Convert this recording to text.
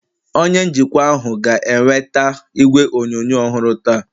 onye njikwa ahụ ga-eweta igwe onyonyo ọhụrụ taa